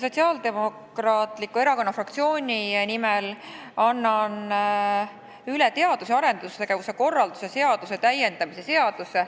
Sotsiaaldemokraatliku Erakonna fraktsiooni nimel annan üle teadus- ja arendustegevuse korralduse seaduse täiendamise seaduse.